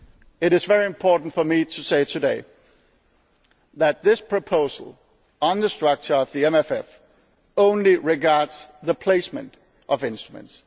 to place outside the MFF. It is very important for me to say today that this proposal on the structure of the MFF only relates